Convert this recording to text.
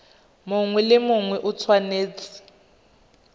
mongwe le mongwe o tshwanetse